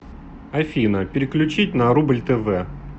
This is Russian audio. афина переключить на рубль тв